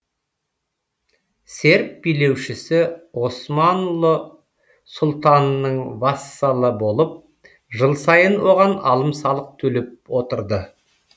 серб билеушісі османлы сұлтанының вассалы болып жыл сайын оған алым салық төлеп отырды